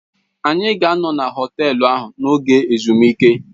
Anyị ga-anọ na họtelu n'oge ezumike.